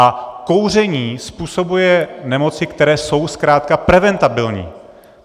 A kouření způsobuje nemoci, které jsou zkrátka preventabilní.